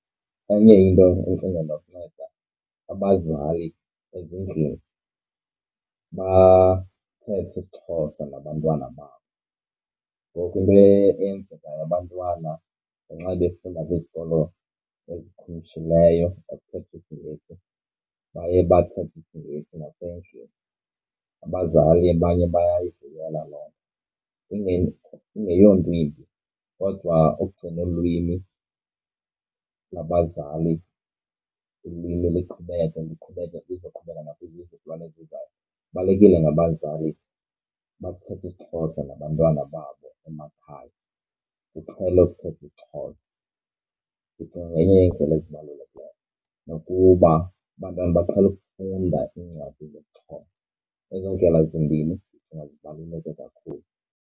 Enye into endicinga enokunceda abazali ezindlini bathethe isiXhosa nabantwana babo. Ngoku into eyenzekayo abantwana ngenxa befunda kwizikolo ezikhumshileyo ezithetha isiNgesi baye bathethe isiNgesi nasendlini. Sbazali abanye bayayivumela loo nto ingeyonto imbi. Kodwa ukugcina olu lwimi lwabazali ulwimi liqhubeke liqhubeke lizoqhubeleka nakwizizukulwana ezizayo. Kubalulekile abazali uba kuthethwe isiXhosa nabantwana babo emakhaya, kuqhelwe kuthethwe isiXhosa. Ndicinga ngenye yeendlela ezibalulekileyo nokuba abantwana baqhele ukufunda iincwadi zesiXhosa. Ezi ndlela zimbini ndicinga zibaluleke kakhulu.